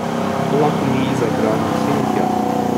To lahko mi zaigramo sem in tja.